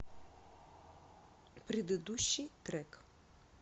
предыдущий трек